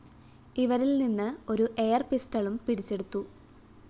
ഇവരില്‍ നിന്ന് ഒരു എയർ പിസ്റ്റളും പിടിച്ചെടുത്തു